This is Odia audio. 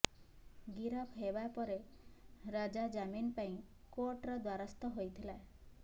ଗିରଫ ହେବା ପରେ ରାଜା ଜାମିନ ପାଇଁ କୋର୍ଟର ଦ୍ବାରସ୍ଥ ହୋଇଥିଲା